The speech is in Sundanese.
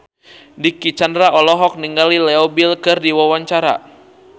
Dicky Chandra olohok ningali Leo Bill keur diwawancara